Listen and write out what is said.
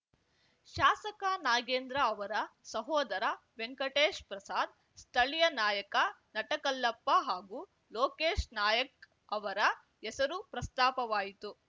ಶಾಸಕ ನಾಗೇಂದ್ರ ಅವರ ಸಹೋದರ ವೆಂಕಟೇಶ್‌ ಪ್ರಸಾದ್‌ ಸ್ಥಳೀಯ ನಾಯಕ ನಟಕಲ್ಲಪ್ಪ ಹಾಗೂ ಲೋಕೇಶ್‌ ನಾಯಕ್‌ ಅವರ ಹೆಸರು ಪ್ರಸ್ತಾಪವಾಯಿತು